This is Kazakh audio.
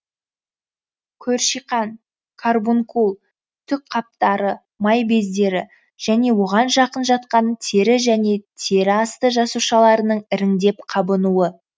көршиқан карбункул түк қаптары май бездері және оған жақын жатқан тері және тері асты жасушаларының іріңдеп қабынуы